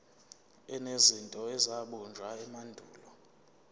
enezinto ezabunjwa emandulo